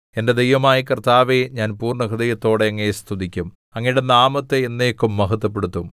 എന്റെ ദൈവമായ കർത്താവേ ഞാൻ പൂർണ്ണഹൃദയത്തോടെ അങ്ങയെ സ്തുതിക്കും അങ്ങയുടെ നാമത്തെ എന്നേക്കും മഹത്വപ്പെടുത്തും